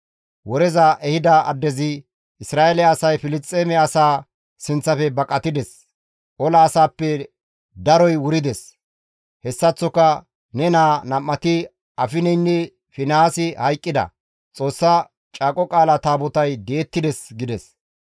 Woreza ehida addezi, «Isra7eele asay Filisxeeme asaa sinththafe baqatides; ola asaappe daroy wurides; hessaththoka ne naa nam7ati Afineynne Finihaasi hayqqida; Xoossa Caaqo Qaala Taabotay di7ettides» gides.